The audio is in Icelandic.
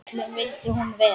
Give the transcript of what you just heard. Öllum vildi hún vel.